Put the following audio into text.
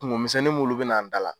Kungo misɛnnin mulu be na an dala.